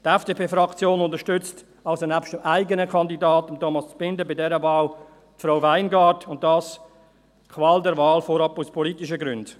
Die FDP-Fraktion unterstützt also nebst ihrem eigenen Kandidaten, Thomas Zbinden, bei dieser Wahl Frau Weingart, und das – Qual der Wahl – vorab aus politischen Gründen.